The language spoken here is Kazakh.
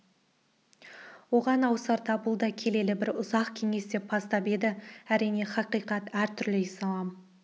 оған ауысарда бұл да келелі бір ұзақ кеңес деп бастап еді әрине хақиқат әр түрлі ислам